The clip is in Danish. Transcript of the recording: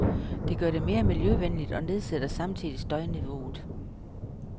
Det gør det mere miljøvenligt og nedsætter samtidig støjniveauet.